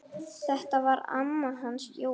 Þetta var amma hans Jóa.